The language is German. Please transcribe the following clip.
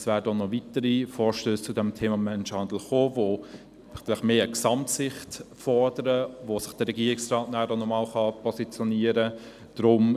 Es werden noch weitere Vorstösse zum Thema Menschenhandel folgen, die mehr eine Gesamtsicht fordern, zu denen sich der Regierungsrat positionieren kann.